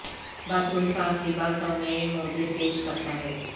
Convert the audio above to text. bath room صاف لباس اور نئے موزے پیش کرتا ہے